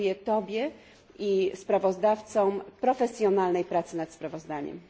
Gratuluję Tobie i sprawozdawcom profesjonalnej pracy nad sprawozdaniem.